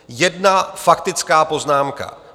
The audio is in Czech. Jedna faktická poznámka.